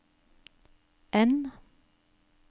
N